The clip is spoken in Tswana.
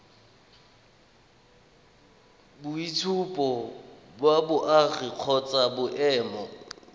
boitshupo ba boagi kgotsa boemo